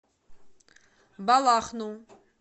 балахну